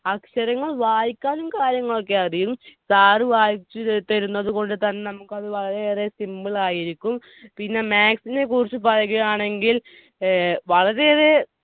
അക്ഷരങ്ങൾ വായിക്കാനും കാര്യങ്ങളും ഒക്കെ അറിയും. സാർ വായിച്ചുതരുന്നത് കൊണ്ട് തന്നെ നമുക്ക് വളരെയേറെ simple ആയിരിക്കും. പിന്നെ maths നെ കുറിച്ച് പറയുകയാണെങ്കിൽ വളരെയേറെ